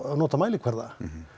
nota mælingarnar